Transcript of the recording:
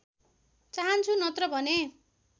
चाहन्छु नत्र भने